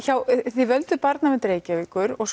þið völduð Barnavernd Reykjavíkur og